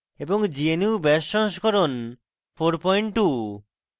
gnu bash সংস্করণ 42